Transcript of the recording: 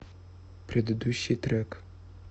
предыдущий трек